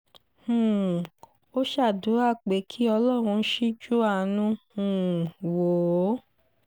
um ó ṣàdúrà pé kí ọlọ́run ṣíjú àánú um wò ó